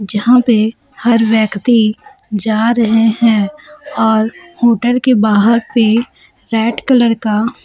यहां पे हर व्यक्ति जा रहे हैं और होटल के बाहर पे रेड कलर का--